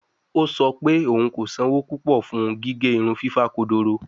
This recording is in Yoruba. O sọ pe oun ko sanwo pupọ fun gige irun fifa kodoro